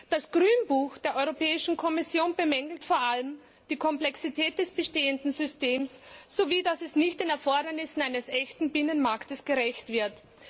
Das Grünbuch der Europäischen Kommission bemängelt vor allem die Komplexität des bestehenden Systems, sowie dass es nicht den Erfordernissen eines echten Binnenmarktes gerecht wird.